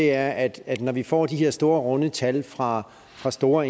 er at når vi får de her store runde tal fra fra store